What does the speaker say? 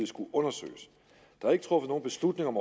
skulle undersøges der er ikke truffet nogen beslutning om